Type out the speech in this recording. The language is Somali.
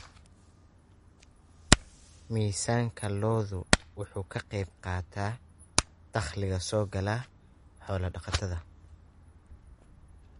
Miisaanka lo'du wuxuu ka qaybqaataa dakhliga soo gala xoolo-dhaqatada.